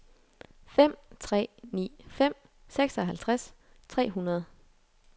fem tre ni fem seksoghalvtreds tre hundrede